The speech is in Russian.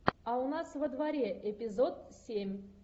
а у нас во дворе эпизод семь